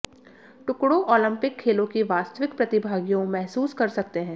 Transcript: टुकड़ों ओलिंपिक खेलों की वास्तविक प्रतिभागियों महसूस कर सकते हैं